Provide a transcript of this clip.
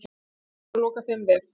Búið er að loka þeim vef.